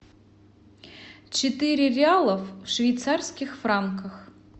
четыре реалов в швейцарских франках